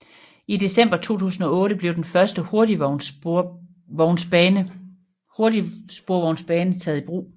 I december 2008 blev den første hurtigsporvognsbane taget i brug